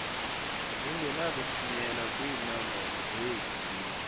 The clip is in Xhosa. zingenakuthunyelwa kwiinombolo zeedilesi